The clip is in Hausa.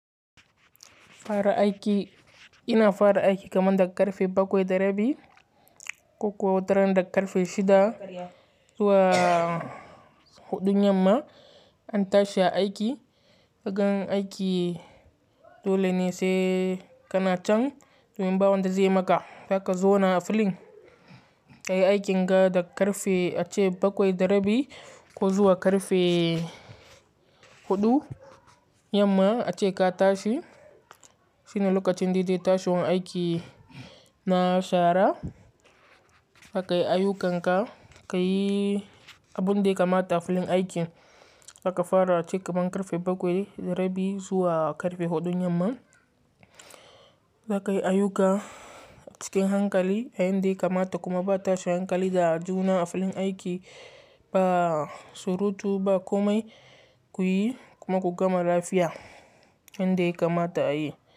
Fara aiki, ina fara aiki kamar daga karfe bakwai da rabi ko kuwa wataran daga karfe shida zuwa huɗun yamma an tashi aiki. Kagan aiki dole ne sai kana can domin bawan da zai maka, zaka zauna a filin ka yi aikin ga daga karfe ace bakwai da rabi ko zuwa karfe huɗu yamma ace ka tashi. Shine lokacin daidai tashiwan aiki na shara, aka yi ayyukanka ka yi abun da kamata a filin aiki aka fara cike man karfe bakwai da rabi zuwa karfe huɗun yamma. Zaka yi ayyuka cikin hankali, a yin dai kamata kuma ba tashi hankali da juna a filin aiki ba surutu ba komai kuyi kuma ku gama lafiya, yanda ya kamata a yi.